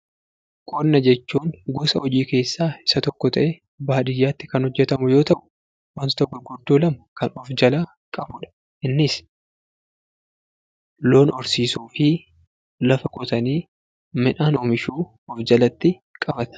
Qonna jechuun gosa hojii keessaa isa tokko ta'ee baadiyyaatti kan hojjatamu yoo ta'u wantoota gurguddoo lama kan of jalaa qabudha. Innis loon horsiisuufi lafa qotanii midhaan oomishuu of jalatti qabata.